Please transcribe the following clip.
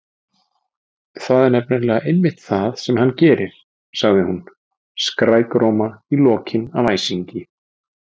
Það er nefnilega einmitt það sem hann gerir- sagði hún, skrækróma í lokin af æsingi.